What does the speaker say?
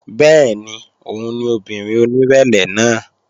Bẹ́ẹ̀ni òun ni obìnrin onírẹ̀lẹ̀ náà